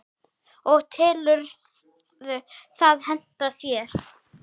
og telurðu það henta þér?